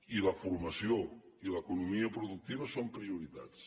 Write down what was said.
i la formació i l’economia productiva són prioritats